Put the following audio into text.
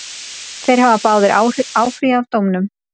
Þeir hafa báðir áfrýjað dómnum.